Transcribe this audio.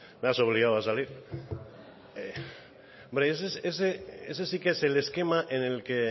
me has obligado a salir hombre ese sí que es el esquema en el que